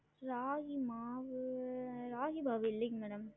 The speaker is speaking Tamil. ராகி மாவு, ராகி மாவு இல்லங்க madam